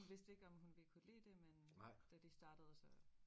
Hun vidste ikke om hun ville kunne lide det men da de startede så